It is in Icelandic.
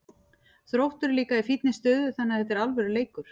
Þróttur er líka í fínni stöðu þannig að þetta er alvöru leikur.